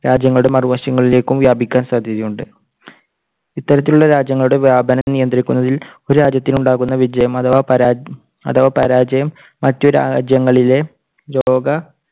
രാജ്യങ്ങളുടെ മറുവശങ്ങളിലേക്കും വ്യാപിക്കാൻ സാധ്യതയുണ്ട്. ഇത്തരത്തിലുള്ള രാജ്യങ്ങളുടെ വ്യാപനം നിയന്ത്രിക്കുന്നതിൽ ഒരു രാജ്യത്ത് ഉണ്ടാകുന്ന വിജയം അഥവാ പരാജയം~ അഥവാ പരാജയം മറ്റു രാജ്യങ്ങളിലെ രോഗ-